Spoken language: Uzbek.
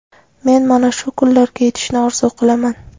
Men mana shu kunlarga yetishni orzu qilaman.